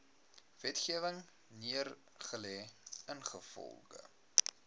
wetgewing neergelê ingevolge